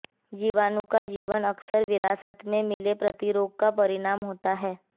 जीवाणु का जीवन अक्सर विरासत में मिले प्रतिरोध का परिणाम होता है